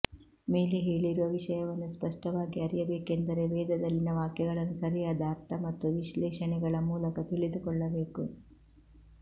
ಮೇಲೆ ಹೇಳಿರುವ ವಿಷಯವನ್ನು ಸ್ಪಷ್ಟವಾಗಿ ಅರಿಯಬೇಕೆಂದರೆ ವೇದದಲ್ಲಿನ ವಾಕ್ಯಗಳನ್ನು ಸರಿಯಾದ ಅರ್ಥ ಮತ್ತು ವಿಶ್ಲೇಷಣೆಗಳ ಮೂಲಕ ತಿಳಿದುಕೊಳ್ಳಬೇಕು